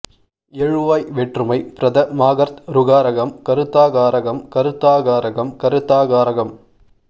எழுவாய் வேற்றுமை ப்ரதமாகர்த்ருகாரகம் கருத்தா காரகம் கருத்தா காரகம் கருத்தா காரகம்